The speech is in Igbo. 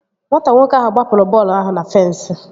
Nwata nwoke ahụ gbapụrụ bọọlụ ahụ na fensi